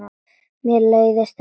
Mér leiðist þetta.